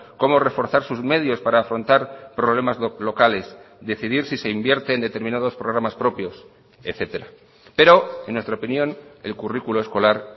cómo reforzar sus medios para afrontar problemas locales decidir si se invierte en determinados programas propios etcétera pero en nuestra opinión el currículo escolar